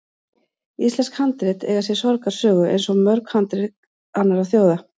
Íslensk handrit eiga sér sorgarsögu, eins og mörg handrit annarra þjóða.